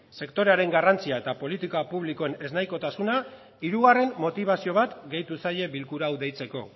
sektorearen garrantzia eta politika publikoen eznahikotasuna hirugarren motibazio bat gehitu zaie bilkura hau deitzeko